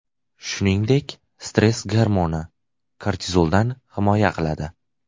Shuningdek, stress gormoni, kortizoldan himoya qiladi.